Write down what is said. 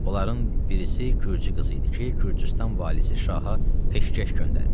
Onların birisi gürcü qızı idi ki, Gürcüstan valisi şaha peşkəş göndərmişdi.